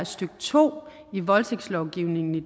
stykke to i voldtægtslovgivningen i